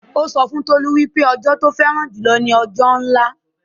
Ó sọ fún Tolú wípé ẹjọ tí ó fẹ́ràn jù lọ ni òjòlá